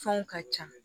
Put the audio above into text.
Fɛnw ka ca